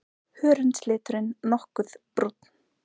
Hörundsliturinn nokkuð brúnn.